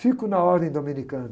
Fico na ordem dominicana.